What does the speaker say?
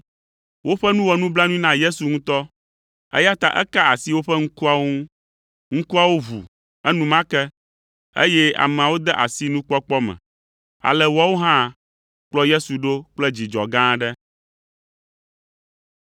Woƒe nu wɔ nublanui na Yesu ŋutɔ, eya ta eka asi woƒe ŋkuawo ŋu. Ŋkuawo ʋu enumake, eye ameawo de asi nukpɔkpɔ me. Ale woawo hã kplɔ Yesu ɖo kple dzidzɔ gã aɖe.